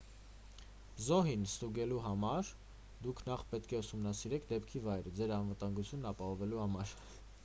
զոհին ստուգելու համար դուք նախ պետք է ուսումնասիրեք դեպքի վայրը ձեր անվտանգությունն ապահովելու համար